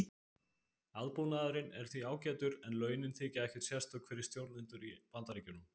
Aðbúnaðurinn er því ágætur en launin þykja ekkert sérstök fyrir stjórnendur í Bandaríkjunum.